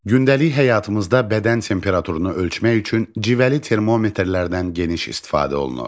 Gündəlik həyatımızda bədən temperaturunu ölçmək üçün civəli termometrlərdən geniş istifadə olunur.